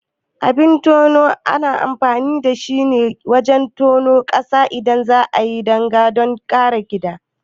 Abin tano ana amfani da shi wajan tonon ƙasa idan za'ayi danga don kare gida